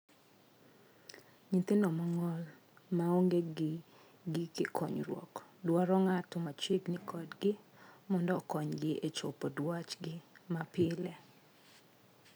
Nyithindo mong'ol ma onge gi gige konyruok dwaro ng'ato machiegni kodgi mondo okonygi e chopo dwachgi ma pile.